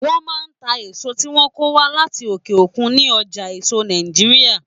Wọ́n máa ń ta èso tí wọ́n kó wá láti òkè òkun ní ọjà èso Nàìjíríà.